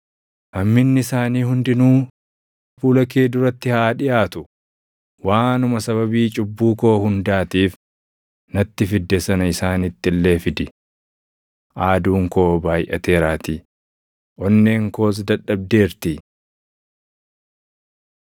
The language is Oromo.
“Hamminni isaanii hundinuu fuula kee duratti haa dhiʼaatu; waanuma sababii cubbuu koo hundaatiif natti fidde sana isaanitti illee fidi! Aaduun koo baayʼateeraatii; onneen koos dadhabdeerti.”